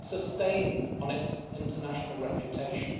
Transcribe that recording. It's a stain on its international reputation.